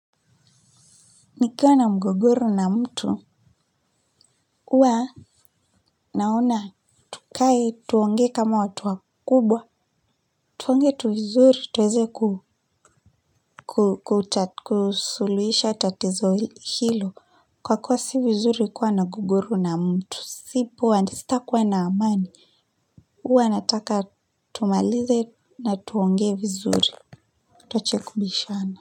Nikiwa na mgogoru na mtu. Huwa naona tukae tuonge kama watu wakubwa. Tuongee tu vizuri tuweze kuta, kusuluisha tatizo hilo. Kwa kuwa si vizuri kuwa na mgogoro na mtu sipo wa sitakuwa na amani. Huwa nataka tumalize na tuongee vizuri. Tuache kubishana.